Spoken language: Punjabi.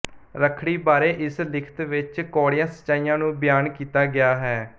ਰੱਖੜੀ ਬਾਰੇ ਇਸ ਲਿਖਤ ਵਿਚ ਕੌੜੀਆਂ ਸੱਚਾਈਆਂ ਨੂੰ ਬਿਆਨ ਕੀਤਾ ਗਿਆ ਹੈ